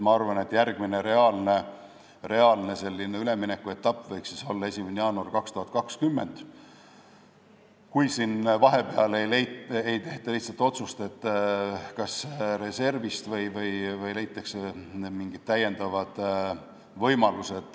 Ma arvan, et järgmine reaalne üleminekuetapp võiks olla 1. jaanuar 2020, kui vahepeal ei tehta otsust, et kas reservist või kuskilt mujalt leitakse lisavõimalused.